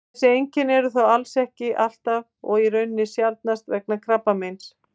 þessi einkenni eru þó alls ekki alltaf og í raun sjaldnast vegna krabbameins